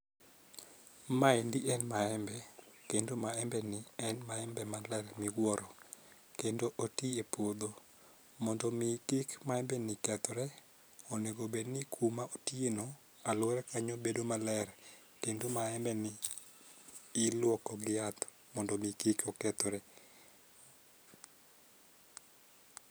Mae eni en maembe kendo maembe ni en maembe maler miwuoro kendo otiye puodho. Mondo mi kik maembe ni kethre , onego bed ni kuma otiye no aluora kanyo bedo maler kendo maembe ni iluoko gi yath mondo mi kik okethre.